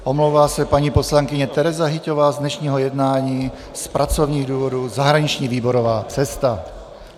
Omlouvá se paní poslankyně Tereza Hyťhová z dnešního jednání z pracovních důvodů, zahraniční výborová cesta.